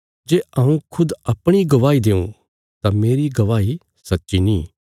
जे हऊँ खुद अपणी गवाही देऊं तां मेरी गवाही सच्ची नीं